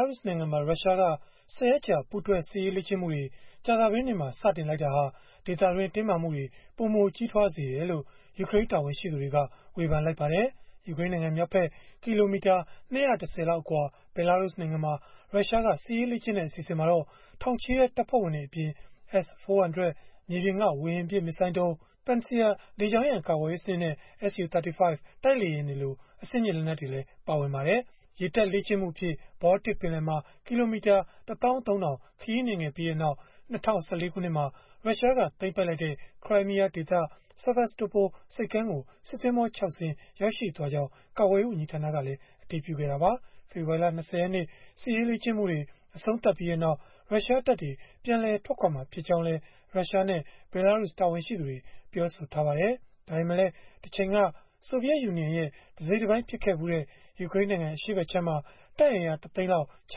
ာရုစ်နိုင်ငံမှာ ရုရှားက ၁၀ ရက်ကြာ ပူးတွဲစစ်ရေးလေ့ကျင့်မှုတွေ ကြာသပတေးနေ့မှာ စတင်လိုက်တာဟာ ဒေသတွင်းမှာ တင်းမာမှုတွေ ပိုမိုကြီးထွားစေတယ်လို့ ယူကရိန်းတာဝန်ရှိသူတွေက ဝေဖန်လိုက်ကြပါတယ်။ ယူကရိန်းနိုင်ငံမြောက်ဖက် ကီလိုမီတာ ၂၁၀ လောက် အကွာ ဘဲလာရုစ်နိုင်ငံမှာ ရုရှားက စစ်ရေးလေ့ကျင့်တဲ့ အစီအစဉ်မှာတော့ ထောင်ချီတဲ့ တပ်ဖွဲ့ဝင်တွေအပြင်၊ S-400 မြေပြင်က ဝေဟင်ပစ် မစ်ဇိုင်းဒုံး၊ Pantsir လေကြောင်းရန်ကာကွယ်ရေး စနစ်နဲ့၊ Su-35 တိုက်လေယာဉ်တွေလို အဆင့်မြင့် လက်နက်တွေ ပါဝင်ပါတယ်။ ရေတပ်လေ့ကျင့်မှုအဖြစ် ဘောလတစ်ပင်လယ်မှာ ကီလိုမီတာ ၁၃၀၀၀ ခရီးနှင်ခဲ့ပြီးနောက် ၂၀၁၄ ခုနှစ်မှာ ရုရှားက သိမ်းပိုက်လိုက်တဲ့ ခရိုင်းမီးယားဒေသ Sevastopol ဆိပ်ကမ်းကို စစ်သင်္ဘော ၆ စင်း ရောက်ရှိသွားကြောင်း ရုရှားကာကွယ်ရေး ဝန်ကြီးဌာနကလည်း အတည်ပြုခဲ့တာပါ။ ဖေဖော်ဝါရီလ ၂၀ ရက်နေ့ စစ်ရေးလေ့ကျင့်မှုတွေ အဆုံးသတ်ပြီးနောက် ရုရှားတပ်တွေ ပြန်လည်ထွက်ခွာမှာ ဖြစ်ကြောင်းလည်း ရုရှားနဲ့ ဘဲလာရုစ် တာဝန်ရှိသူတွေ ပြောဆိုထားပါတယ်။ ဒါပေမဲ့လည်း တချိန်က ဆိုဗီယက်ယူနီယံရဲ့ တစိတ်တပိုင်း ဖြစ်ခဲ့ဖူးတဲ့ ယူကရိန်းနိုင်ငံ အရှေ့ဖက်ခြမ်းမှာ တပ်အင်အား ၁ သိန်းလောက် ချ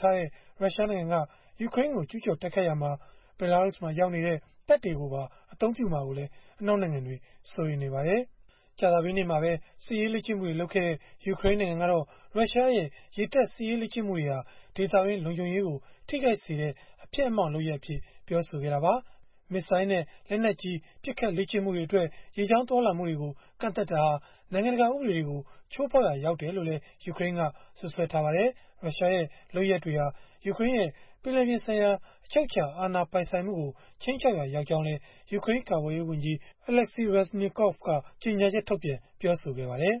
ထားတဲ့ ရုရှားနိုင်ငံက ယူကရိန်းကို ကျုးကျော်တိုက်ခိုက်ရာမှာ ဘဲလာရုစ်မှာ ရောက်နေတဲ့ တပ်တွေကိုပါ အသုံးပြုမှာကိုလည်း အနောက်နိုင်ငံတွေက စိုးရိမ်နေကြပါတယ်။ ကြာသပတေးနေ့မှာပဲ စစ်ရေးလေ့ကျင့်မှုတွေ လုပ်ခဲ့တဲ့ ယူကရိန်းနိုင်ငံကတော့ ရုရှားရဲ့ ရေတပ်စစ်ရေးလေ့ကျင့်မှုတွေဟာ ဒေသတွင်း လုံခြုံရေးကို ထိခိုက်စေတဲ့ အဖျက်အမှောင့် လုပ်ရပ်အဖြစ် ပြောဆိုခဲ့တာပါ။ မစ်ဇိုင်းနဲ့ လက်နက်ကြီး ပစ်ခတ်လေ့ကျင့်မှုတွေအတွက် ရေကြောင်း သွားလာမှုတွေကို ကန့်သတ်တာဟာ နိုင်ငံတကာ ဥပဒေတွေကို ချိုးဖောက်ရာ ရောက်တယ်လို့လည်း ယူကရိန်းက စွပ်စွဲခဲ့ပါတယ်။ ရုရှားရဲ့ လုပ်ရပ်တွေဟာ ယူကရိန်းရဲ့ ပင်လယ်ပြင်ဆိုင်ရာ အချုပ်အခြာ အာဏာပိုင်ဆိုင်မှုကို ခြိမ်းခြောက်ရာ ရောက်ကြောင်းလည်း ယူကရိန်း ကာကွယ်ရေးဝန်ကြီး Oleksii Reznikov က ကြေညာချက်ထုတ်ပြန် ပြောဆိုခဲ့ပါတယ်။